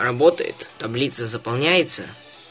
работает таблица заполняется